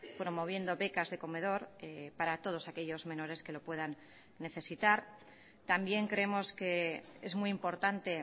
promoviendo becas de comedor para todos aquellos menores que lo puedan necesitar también creemos que es muy importante